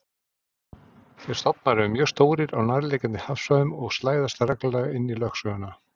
Þeir stofnar eru mjög stórir á nærliggjandi hafsvæðum og slæðast reglulega inn í lögsöguna.